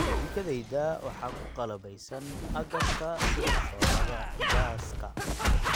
Jikadayda waxa ku qalabaysan agabka sida shooladda gaaska